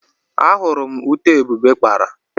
Ahuru m ute Ebube kpara.